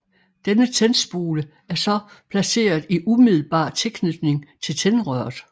Denne tændspole er så placeret i umiddelbar tilknytning til tændrøret